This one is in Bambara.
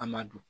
A ma don